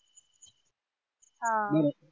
हा आह